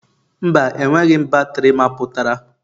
Mba, enweghị m batrị mapụtara.